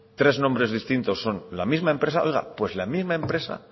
tres nombres distintos son la misma empresa oiga pues la misma empresa